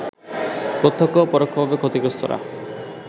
প্রত্যক্ষ ও পরোক্ষভাবে ক্ষতিগ্রস্তরা